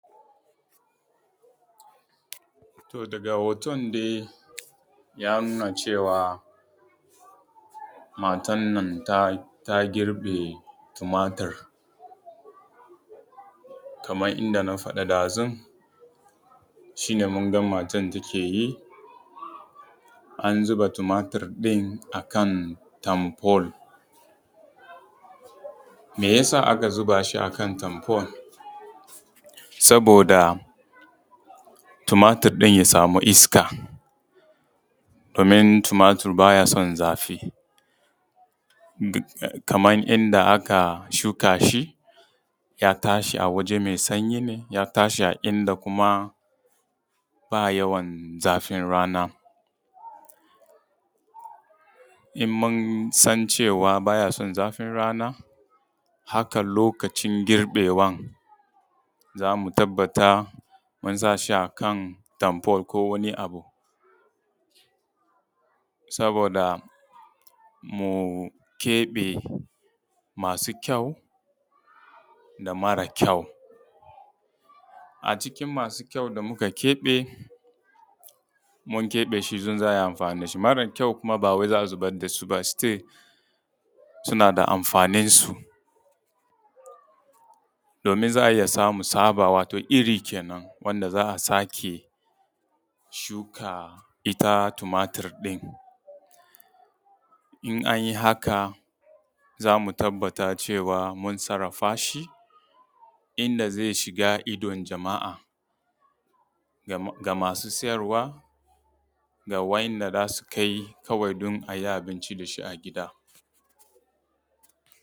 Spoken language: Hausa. To daga hoton dai ya nuna matar nan ta girbe tumatir. Kamar inda na faɗa dazu shi ne mun ga matar take yi, an zuba tumatir ɗin a kan tanfol. Mai yasa aka zuba shi a kan tanfol? Saboda tomatir ɗin ya samu iska domin tumatir ba ya son zafi kamar yanda aka shuka shi ya tashi a waje mai sanyi ne, ya tashi a inda kuma ba yawan zafin rana. In mun san cewa baya son zafin rana haka lokacin girbewa za mu tabbata mun sa shi akan tanfol ko wani abu saboda mu keɓe masu kyau da mara kyau. A cikin masu kyau da muka keɓe, mun keɓe idan za a yi amfani da shi. Mara kyau ba wai za a zubar da su ba, still suna da amfaninsu, domin za a iya samu tsaba wato iri kenan, wanda za a sake shuka ita tumatir ɗin. In an yi haka za mu tabbata cewa mun sarafa shi inda zai shiga idon jama'a da masu siyarwa, ga wa'inda za su kai kawai don a yi abinci da shi a gida.